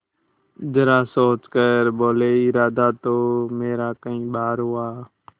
जरा सोच कर बोलेइरादा तो मेरा कई बार हुआ